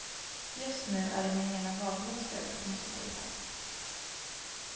Just nu är det min ena vadmuskel som måste tejpas.